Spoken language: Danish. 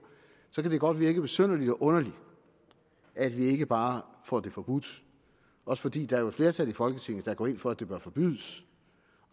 så kan det godt virke besynderligt og underligt at vi ikke bare får det forbudt også fordi der jo er et flertal i folketinget der går ind for at det bør forbydes